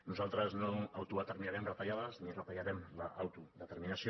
nosaltres no autodeterminarem retallades ni retallarem l’autodeterminació